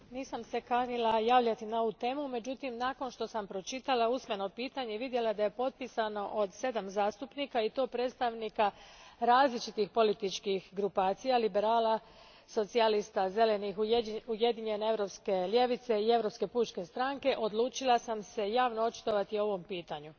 Gospodine predsjedavajući, nisam se kanila javljati na ovu temu, međutim, nakon što sam pročitala usmeno pitanje i vidjela da je potpisano sedam zastupnika i to predstavnika različitih političkih grupacija, liberala, socijalista, zelenih, Ujedinjene europske ljevice i Europske pučke stranke, odlučila sam se javno očitovati o ovom pitanju.